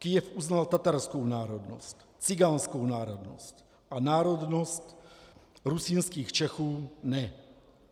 Kyjev uznal tatarskou národnost, cikánskou národnost a národnost rusínských Čechů ne.